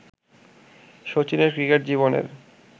শচীনের cricket জীবনের